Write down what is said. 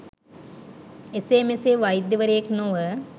එසේ මෙසේ වෛද්‍යවරයෙක් නොව